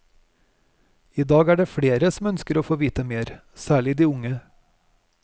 I dag er det flere som ønsker å få vite mer, særlig de unge.